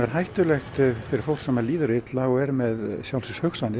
hættulegt fyrir fólk sem líður illa og er með